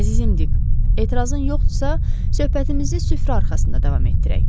Əzizim Dik, etirazın yoxdursa, söhbətimizi süfrə arxasında davam etdirək.